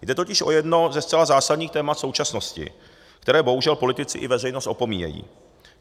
Jde totiž o jedno ze zcela zásadních témat současnosti, které bohužel politici i veřejnost opomíjejí.